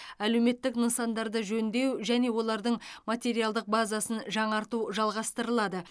әлеуметтік нысандарды жөндеу және олардың материалдық базасын жаңарту жалғастырылады